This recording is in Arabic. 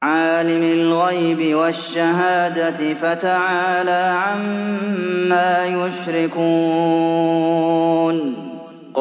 عَالِمِ الْغَيْبِ وَالشَّهَادَةِ فَتَعَالَىٰ عَمَّا يُشْرِكُونَ